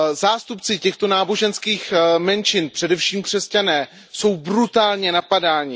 Zástupci těchto náboženských menšin, především křesťané, jsou brutálně napadáni.